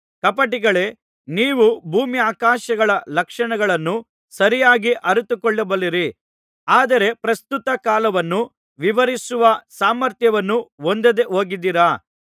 ಕಪಟಿಗಳೇ ನೀವು ಭೂಮ್ಯಾಕಾಶಗಳ ಲಕ್ಷಣಗಳನ್ನು ಸರಿಯಾಗಿ ಅರಿತುಕೊಳ್ಳಬಲ್ಲಿರಿ ಆದರೆ ಪ್ರಸ್ತುತ ಕಾಲವನ್ನು ವಿವರಿಸುವ ಸಾಮರ್ಥ್ಯವನ್ನು ಹೊಂದದೆ ಹೋಗಿದ್ದಿರಾ